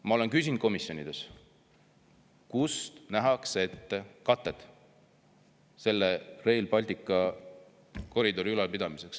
Ma olen küsinud komisjonides, kus nähakse katet Rail Balticu koridori ülalpidamiseks.